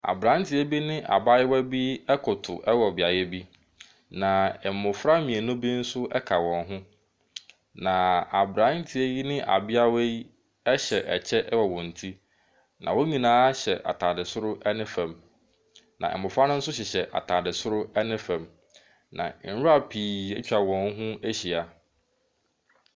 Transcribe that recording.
Aberanteɛ bi ne abaayewa bi koto wɔ beaeɛ bi. Na mmɔfra mmienu bi nso ka wɔn ho. Na aberanteɛ yi ne abeawa yi hyɛ ɛkyɛ wɔ wɔn ti. Na wɔn nyinaa hyɛ atadeɛ soro ne fam. Na mmɔfra no nso hyehyɛ atadeɛ soro ne fam. Na nwira pii atwa wɔn ho ahyia.